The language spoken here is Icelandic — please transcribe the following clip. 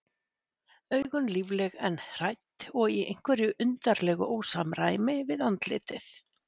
augun lífleg en hrædd og í einhverju undarlegu ósamræmi við andlitið.